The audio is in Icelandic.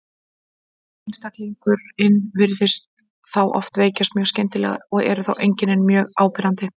Einstaklingurinn virðist þá oft veikjast mjög skyndilega og eru þá einkennin mjög áberandi.